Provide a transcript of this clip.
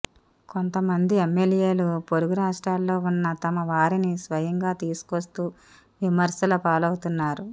కొంతమంది ఎమ్యెల్యేలు పొరుగు రాష్ట్రాల్లో ఉన్న తమ వారిని స్వయంగా తీసుకొస్తూ విమర్శలపాలవుతున్నారు